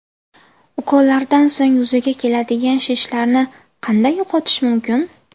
Ukollardan so‘ng yuzaga keladigan shishlarni qanday yo‘qotish mumkin?.